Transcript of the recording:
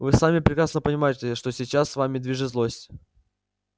вы сами прекрасно понимаете что сейчас вами движет злость